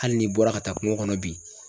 Hali n'i bɔra ka taa kungo kɔnɔ bi